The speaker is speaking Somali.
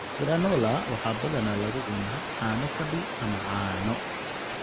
Granola waxaa badanaa lagu cunaa caano fadhi ama caano.